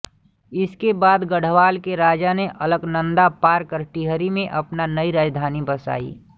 इसके बाद गढ़वाल के राजा ने अलकनंदा पार कर टिहरी में अपनी नयी राजधानी बसायी